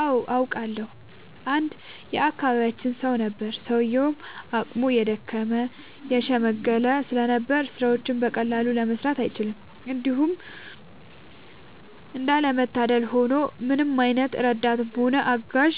አዎ አውቃለሁ። አንድ የአካባቢያችን ሰው ነበረ፤ ሰውዬውም አቅሙ የደከመ የሽምገለ ስለነበር ስራዎችን በቀላሉ መስራት አይችልም። እንዲሁም እንዳለ መታደል ሆኖ ምንም አይነት ረዳትም ሆነ አጋዥ